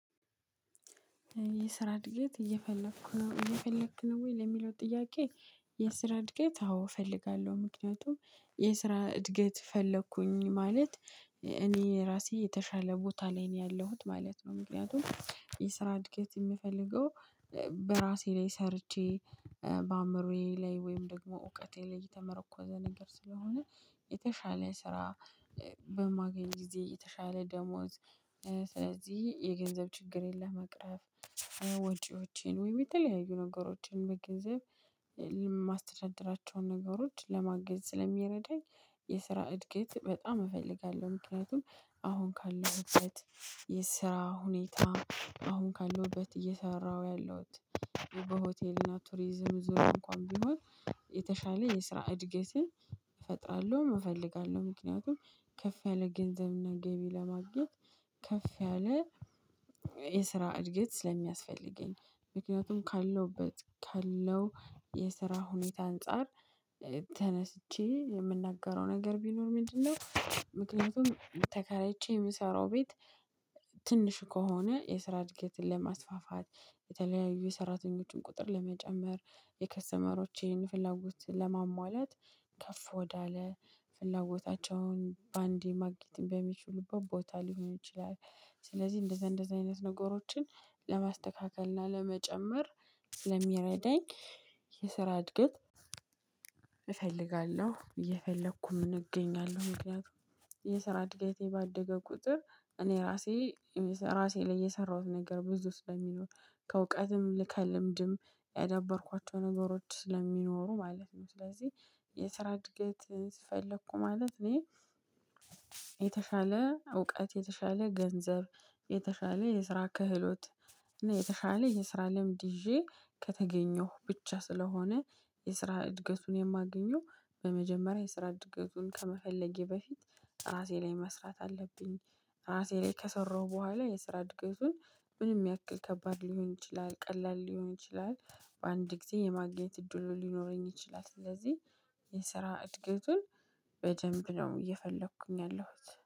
የስራ እድገት እየፈለኩ ነው። እየፈለክ ነው ወይ? ለሚለው ጥያቄ የስራ እድገት አዎ እፈልጋለሁ ምክንያቱም የስራ እድገት ፈለኩኝ ማለት እኔ ራሴ የተሻለ ቦታ ላይ ነው ያለሁት ማለት ነው ምክንያቱም የስራ እድገት የምፈልገው በራሴ ላይ ሰርቼ በአእምሮዬ ላይ ወይም ደግሞ እውቀቴ ላይ የተመረኮዘ ነገር ስለሆነ የተሻለ ስራ በማገኝ ጊዜ የተሻለ ደሞዝ ስለዚህ የገንዘብ ችግሬን ለመቅረፍ ወጪዎችን ወይም የተለያዩ ነገሮችን በገንዘብ የማስተዳድራቸውን ነገሮች ለማገዝ ስለሚረዳኝ የስራ እድገት በጣም እፈልጋለሁ። ምክንያቱም አሁን ካለሁበት የስራ ሁኔታ አሁን ካለውበት እየሰራሁ ያለሁት በሆቴል እና ቱሪዝም ዙር እንኳን ቢሆን የተሻለ የስራ እድገትን እፈጥራለሁ እፈልጋለሁ ምክንያቱም ከፍ ያለ ገንዘብና ገቢ ለማግኘት ከፍ ያለ የስራ እድገት ስለሚያስፈልገኝ ምክንያቱም ካለሁበት ካለው የስራ ሁኔታ አንፃር ተነስቼ የምናገረው ነገር ቢኖር ምንድነው ምክንያቱም ተከራይቼ የምሰራው ቤት ትንሽ ከሆነ የስራ እድገትን ለማስፋፋት የተለያዩ የሰራተኞችን ቁጥር ለመጨመር የከስተመሮቼን ፍላጎት ለማሟላት ከፍ ወዳለ ፍላጎታቸውን በአንዴ ማግኘት በሚችሉበት ቦታ ሊሆን ይችላል ስለዚህ እንደዛ እንደዛ አይነት ነገሮችን ለማስተካከል እና ለመጨመር ስለሚረዳኝ የስራ እድገት እየፈልጋለው እየፈለኩም እገኛለሁ። ምክንያቱም የስራ እድገቴ ባደገ ቁጥር እኔ ራሴ ራሴ ላይ የሰራሁት ነገር ብዙ ስለሚኖር። ከእውቀትም ከልምድም ያዳበርኳቸው ነገሮች ስለሚኖሩ ማለት ነው ስለዚህ የስራ እድገት ፈለኩ ማለት እኔ የተሻለ እውቀት፣ የተሻለ ገንዘብ፣ የተሻለ የስራ ክህሎት እና የተሻለ የስራ ልምድ ይዤ ከተገኘሁ ብቻ ስለሆነ የስራ እድገቱን የማገኘው በመጀመሪያ የስራ እድገቱን ከመፈለጌ በፊት ራሴ ላይ መስራት አለብኝ። ራሴ ላይ ከሰራው በኋላ የስራ እድገቱን ምንም ያክል ከባድ ሊሆን ይችላል ቀላል ሊሆን ይችላል በአንድ ጊዜ የማግኘት እድሉ ሊኖረኝ ይችላል። ስለዚህ የስራ እድገቱን በደንብ ነው እየፈለኩኝ ያለሁት